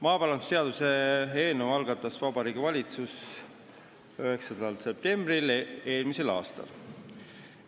Maaparandusseaduse eelnõu algatas Vabariigi Valitsus 9. oktoobril eelmisel aastal.